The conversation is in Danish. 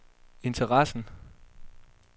interessen